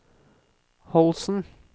Holsen